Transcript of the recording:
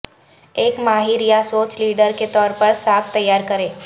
ایک ماہر یا سوچ لیڈر کے طور پر ساکھ تیار کریں